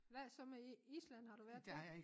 Hvad så med Island har du været dér